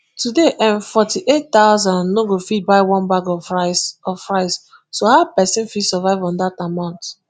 today nforty-eight thousand no go fit buy one bag of rice of rice so how pesin fit survive on dat amount